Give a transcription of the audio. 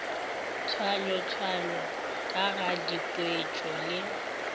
tshwayatshwayo ka ga dikhwetšo le